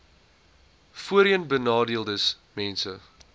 voorheenbenadeeldesmense